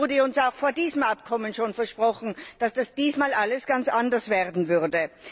Es wurde uns auch vor diesem Abkommen schon versprochen, dass diesmal alles ganz anders werden würde.